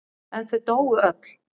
En þau dóu öll.